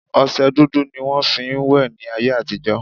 Ọsẹ dúdú ni wọn fi ń wẹ̀ ni áyé àtijọ́